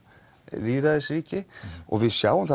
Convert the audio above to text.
lýðræðisríki og við sjáum